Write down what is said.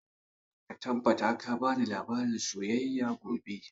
Ka tabbata ka bani labarin soyayya gobe!